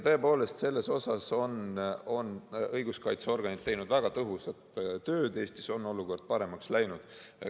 Tõepoolest, selles vallas on õiguskaitseorganid teinud väga tõhusat tööd ja Eestis on olukord paremaks läinud.